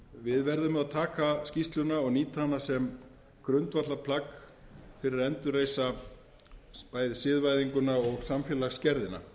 við verðum að taka skýrsluna og nýta hana sem grundvallarplagg fyrir að endurreisa bæði siðvæðinguna og samfélagsgerðina